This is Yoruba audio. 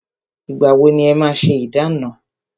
Ìgbà wọ ni e máa ṣé ìdána?